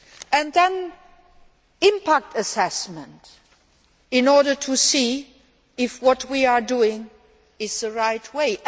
And then, impact assessments, in order to see if what we are doing is the right way.